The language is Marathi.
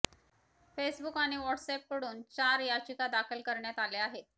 फेसबुक आणि आणि व्हॉट्सऍपकडून चार याचिका दाखल करण्यात आल्या आहेत